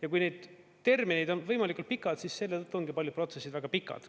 Ja kui need terminid on võimalikult pikad, siis selle tõttu ongi paljud protsessid väga pikad.